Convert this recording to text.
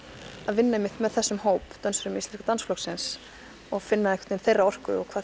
vinna einmitt með þessum hóp dönsurum Íslenska dansflokksins og finna þeirra orku og hvað